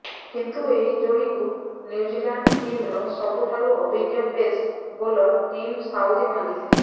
କିନ୍ତୁ ଏହି ଯୋଡ଼ିକୁ ନ୍ୟୁଜିଲ୍ୟାଣ୍ଡ୍ ଟିମର ସବୁଠାରୁ ଅଭିଜ୍ଞ ପେସ୍ ବୋଲର ଟିମ୍ ସାଉଦୀ ଭାଙ୍ଗିଥିଲେ